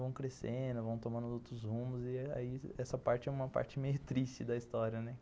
Vão crescendo, vão tomando outros rumos e aí essa parte é uma parte meio triste da história, né?